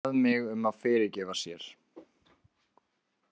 Hann bað mig um að fyrirgefa sér.